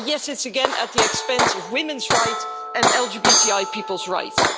Yes, it's again at the expense of women's rights and LGBTI people's rights.